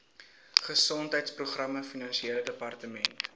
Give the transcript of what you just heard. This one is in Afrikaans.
gesondheidsprogramme provinsiale departement